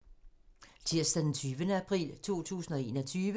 Tirsdag d. 20. april 2021